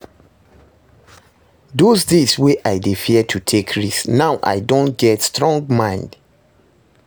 Those days wey I dey fear to take risk, now I don get strong mind